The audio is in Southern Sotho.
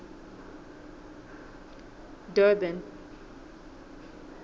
durban